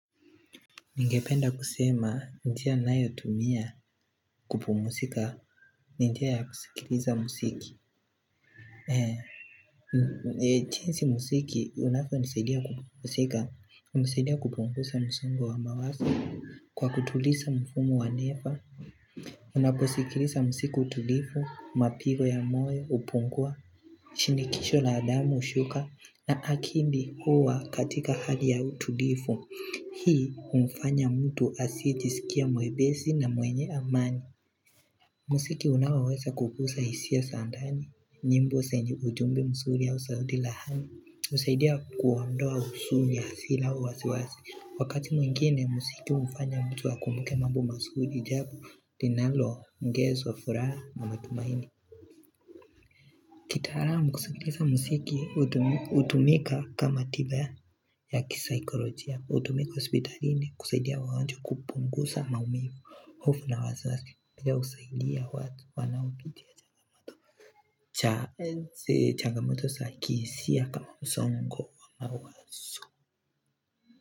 Ningependa kusema, njia ninayo tumia kupumusika, ni njia ya kusikiliza musiki. Jinsi musiki, unavyo nisaidia kupumusika, hunisaidia kupungusa msongo wa mawaso. Kwa kutulisa mfumo wa nefa, unaposikilisa musiku utulifu, mapigo ya moyo, hupungua, shinikisho la damu ushuka, na akindi huwa katika hali ya utulifu. Hii humfanya mtu asiyejisikia mwebesi na mwenye amani Musiki unaowesa kupusa hisia za ndani nyimbo senye ujumbe msuri au saudi lahani usaidia kuondoa usuni ya hasila au wasi wasi Wakati mwingine musiki humfanya mtu akumbuke mambo mazuri jambo linalo ongezwa furaha na matumaini kitaalamu kusikiliza muziki hutu hutumika kama tiba ya kisaikolojia hutumika hospitalini kusaidia waganjwa kupungusa maumivu hofu na wasiwasi pia husaidia watu wanaopitia changamoto cha enze changamoto za kihisia kama msongo wa mawazo.